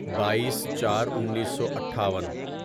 بائیس چار انیسو اٹھاون